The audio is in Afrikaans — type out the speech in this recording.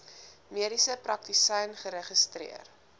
mediese praktisyn geregistreer